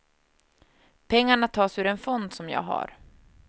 Pengarna tas ur en fond som jag har.